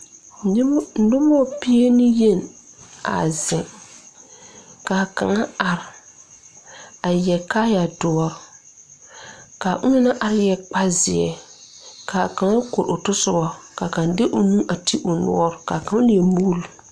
Nobɔ pieneyen a zeŋ kaa kaŋa are a yɛre kaayɛ doɔre kaa onɔŋ naŋ are yɛre kparezeɛ kaa kaŋa kori otɔsobɔ kaa kaŋ de o nu a ti o noɔre kaa kaŋ leɛ muuli.